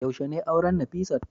yaushe ne auren Nafisat